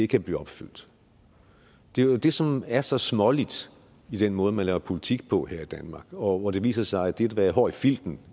kan blive opfyldt er jo det som er så småligt i den måde man laver politik på her i danmark hvor det viser sig at det at være hård i filten